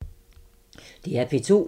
DR P2